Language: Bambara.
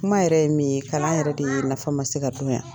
Kuma yɛrɛ ye min ye, kalan yɛrɛ de nafa ma se ka don yan.